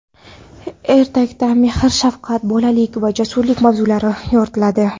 Ertakda mehr-shafqat, bolalik va jasurlik mavzulari yoritiladi.